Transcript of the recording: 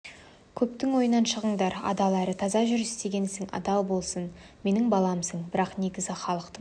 көптің ойынан шығыңдар адал әрі таза жүр істеген ісің адал болсын менің баламсың бірақ негізі халықтың